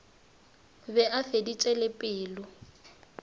be a feditše le pelo